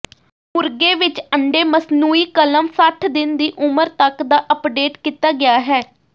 ਮੁਰਗੇ ਵਿੱਚ ਅੰਡੇ ਮਸਨੂਈ ਕਲਮ ਸੱਠ ਦਿਨ ਦੀ ਉਮਰ ਤੱਕ ਦਾ ਅੱਪਡੇਟ ਕੀਤਾ ਗਿਆ ਹੈ